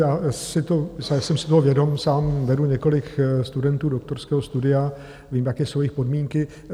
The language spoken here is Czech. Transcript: Já jsem si toho vědom, sám vedu několik studentů doktorského studia, vím, jaké jsou jejich podmínky.